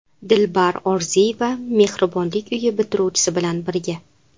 Dilbar Orziyeva mehribonlik uyi bitiruvchisi bilan birga.